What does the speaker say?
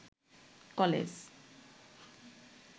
college